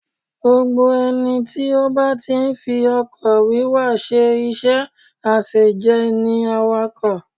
Gbogbo ẹni tí ó bá ti ń fi ọkọ̀ wíwa ṣe iṣẹ́ àṣejẹ ni awakọ̀